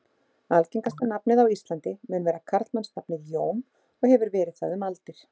Algengasta nafnið á Íslandi mun vera karlmannsnafnið Jón og hefur verið það um aldir.